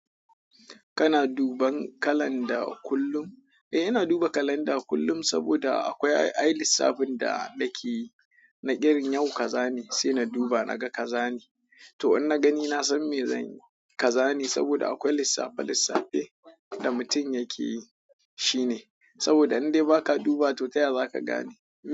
Kana duban kalanda kullum? Eh, ina duba kalanda kullum saboda akwai ai lissafin da nake yi na irin yau kaza ne sai na duba naga kaza ne. To in na gani na san me zan yi kaza ne saboda akwai lissafe lissafe da mutum yake yi, shi ne. Saboda in dai ba ka dubawa to ta ya za ka gane.